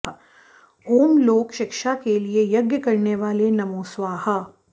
ॐ लोक शिक्षा के लिये यज्ञ करनेवाले नमो स्वाहा